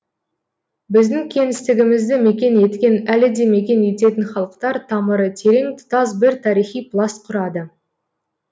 біздің кеңістігімізді мекен еткен әлі де мекен ететін халықтар тамыры терең тұтас бір тарихи пласт құрады